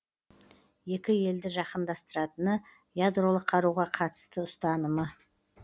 екі елді жақындастыратыны ядролық қаруға қатысты ұстанымы